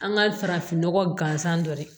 An ka farafinnɔgɔ gansan dɔ de